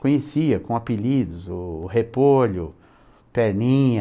com apelidos, o Repolho, Perninha...